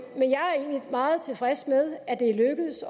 meget tilfreds med at det er lykkedes